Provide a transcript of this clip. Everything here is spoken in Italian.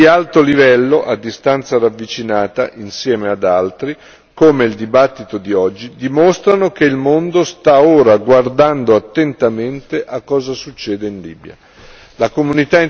Questi eventi di alto livello a distanza ravvicinata, insieme ad altri, come il dibattito di oggi, dimostrano che il mondo sta ora guardando attentamente a cosa succede in Libia.